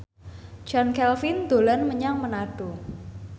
Chand Kelvin dolan menyang Manado